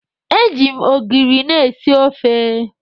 E ji m ogiri na-esi ofe.